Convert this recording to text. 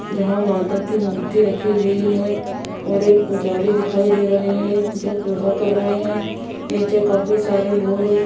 जहां माता की मूर्ति रखी हुई है और एक पुजारी दिखाई दे रहे हैं जो पूजा कर रहे हैं नीचे काफी सारे लोग --